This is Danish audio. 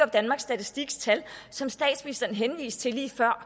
danmarks statistiks tal som statsministeren henviste til lige før